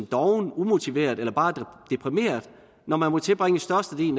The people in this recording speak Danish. doven umotiveret eller bare deprimeret når man må tilbringe størstedelen